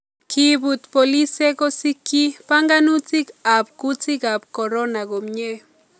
Kiibut boolisyek kosiikyi banganutik apkutikaab corona komye